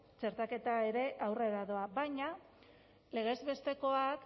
txertaketa ere aurrera doa baina legez bestekoak